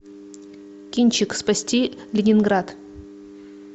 кинчик спасти ленинград